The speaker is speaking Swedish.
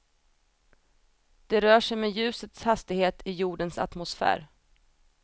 De rör sig med ljusets hastighet i jordens atmosfär.